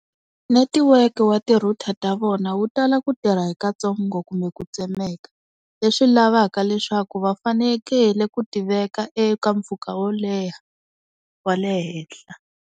Netiweke wa ti-router ta vona wu tala ku tirha hi katsongo kumbe ku tsemeka leswi lavaka leswaku va fanekele ku ti veka eka mpfhuka wo leha wa le henhla.